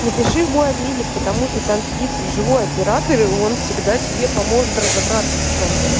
напиши в мой обменник потому что там сидит живой оператор и он всегда тебе поможет разобраться в чём-то